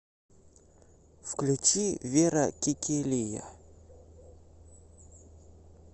включи вера кекелия